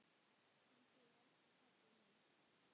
Til þín, elsku pabbi minn.